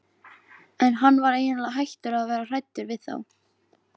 En hann var eiginlega hættur að vera hræddur við þá.